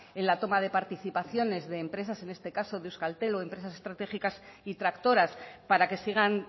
en la toma de participaciones de empresas en este caso de euskaltel o de empresas estratégicas y tractoras para que sigan